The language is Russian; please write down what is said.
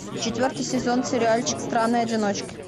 четвертый сезон сериальчик странные одиночки